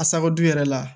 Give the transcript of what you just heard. Asakodu yɛrɛ la